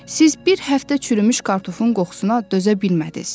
Siz bir həftə çürümüş kartofun qoxusuna dözə bilmədiz.